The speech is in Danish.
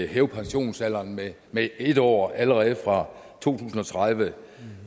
hæve pensionsalderen med med en år allerede fra to tusind og tredive